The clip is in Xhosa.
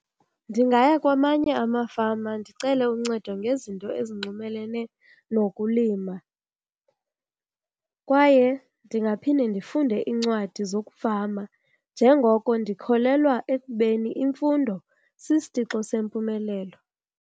Ndingaya kwamanye amafama ndicele uncedo ngezinto ezinxulumene nokulima. Kwaye ndingaphinde ndifunde iincwadi zokufama njengoko ndikholelwa ekubeni imfundo sisitixo sempumelelo.